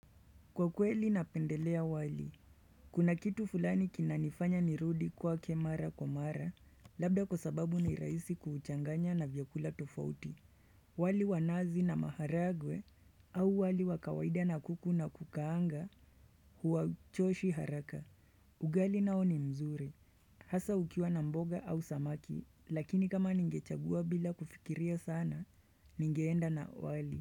Kwa kweli napendelea wali kuna kitu fulani kinanifanya ni rudi kwa mara mara Labda kwa sababu ni raisi kuuchanganya na vyakula tofauti wali wanazi na maharagwe au wali wakawaida na kuku na kukaanga huwa choshi haraka ugali nao ni mzuri Hasa ukiwa na mboga au samaki lakini kama ningechagua bila kufikiria sana ningeenda na wali.